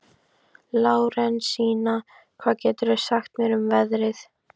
Lárensína, hvað geturðu sagt mér um veðrið?